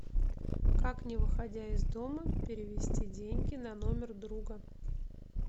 как не выходя из дома перевести деньги на номер друга